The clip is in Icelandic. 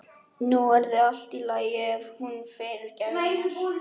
Nú yrði allt í lagi og hún fyrirgæfi mér.